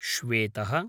श्वेतः